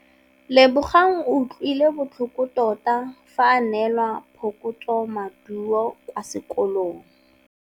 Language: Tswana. Lebogang o utlwile botlhoko tota fa a neelwa phokotsômaduô kwa sekolong.